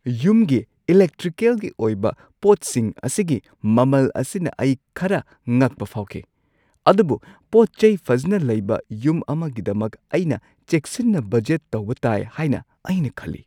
ꯌꯨꯝꯒꯤ ꯏꯂꯦꯛꯇ꯭ꯔꯤꯀꯦꯜꯒꯤ ꯑꯣꯏꯕ ꯄꯣꯠꯁꯤꯡ ꯑꯁꯤꯒꯤ ꯃꯃꯜ ꯑꯁꯤꯅ ꯑꯩꯅ ꯈꯔ ꯉꯛꯄ ꯐꯥꯎꯈꯤ, ꯑꯗꯨꯕꯨ ꯄꯣꯠ-ꯆꯩ ꯐꯖꯅ ꯂꯩꯕ ꯌꯨꯝ ꯑꯃꯒꯤꯗꯃꯛ ꯑꯩꯅ ꯆꯦꯛꯁꯤꯟꯅ ꯕꯖꯦꯠ ꯇꯧꯕ ꯇꯥꯏ ꯍꯥꯏꯅ ꯑꯩ ꯈꯜꯂꯤ꯫